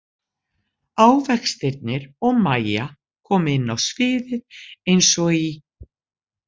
Ávextirnir og Mæja koma inn á sviðið eins og í